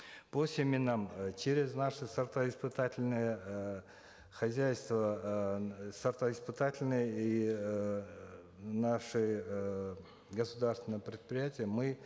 по семенам э через наше сортоиспытательное э хозяйство э сортоиспытательное и эээ наши э государственные предприятия мы